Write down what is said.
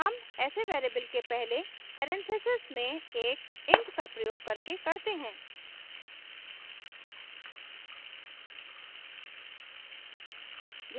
हम ऐसे variable के पहले परेन्थेसिस में एक int का प्रयोग करके करते हैं